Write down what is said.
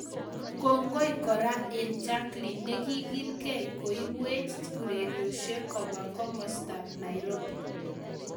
Kongoi kora eng jakilin nekigilgei koibwech urerosiek kobwa komastab naropi